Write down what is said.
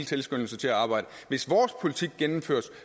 tilskyndelse til at arbejde hvis vores politik gennemføres